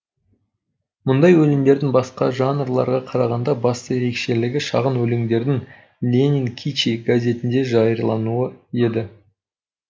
мұндай өлеңдердің басқа жанрларға қарағанда басты ерекшелігі шағын өлеңдердің ленин кичи газетіне жариялануы еді